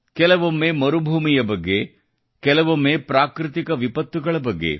ಕೆಲವೊಮ್ಮೆ ಮರುಭೂಮಿ ಬಗ್ಗೆ ಕೆಲವೊಮ್ಮೆ ಪ್ರಾಕೃತಿಕ ವಿಪತ್ತುಗಳ ಬಗ್ಗೆ